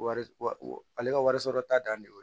Wari wa ale ka wariso ta dannen